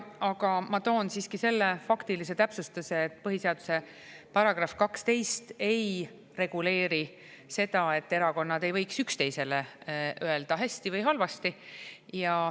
Aga ma toon siiski selle faktilise täpsustuse, et põhiseaduse § 12 ei reguleeri seda, et erakonnad ei võiks üksteisele öelda hästi või halvasti.